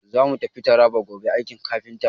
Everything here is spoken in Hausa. Za mu tafi Taraba gobe aiki kafinta.